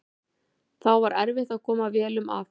Því var erfitt að koma vélum að.